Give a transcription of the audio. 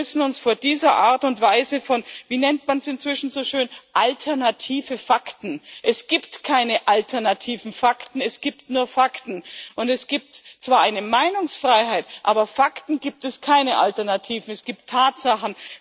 Wir müssen uns schützen vor dieser Art und Weise von wie nennt man es inzwischen so schön alternativen Fakten es gibt keine alternativen Fakten, es gibt nur Fakten, und es gibt zwar eine Meinungsfreiheit, aber Fakten gibt es keine alternativen. Es gibt Tatsachen